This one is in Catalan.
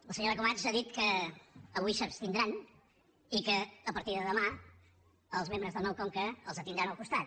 la senyora camats ha dit que avui s’abstindran i que a partir de demà els membres del nou conca els tindran al costat